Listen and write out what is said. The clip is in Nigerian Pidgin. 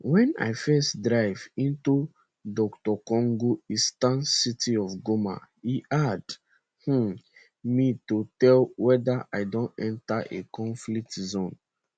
wen i first drive into dr congo eastern city of goma e hard um me to tell weda i don enter a conflict zone